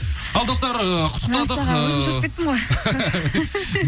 ал достар ыыы құттықтадық ыыы мәссаған өзім шошып кеттім ғой